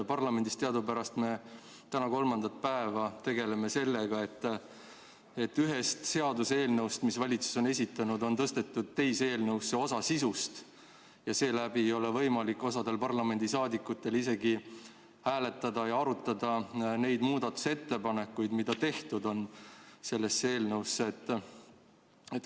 Parlamendis teadupärast me täna kolmandat päeva tegeleme sellega, et ühest seaduseelnõust, mille valitsus on esitanud, on tõstetud teise eelnõusse osa sisust ja seetõttu ei ole võimalik osal parlamendiliikmetel isegi hääletada ega arutada neid muudatusettepanekuid, mis selle eelnõu kohta on tehtud.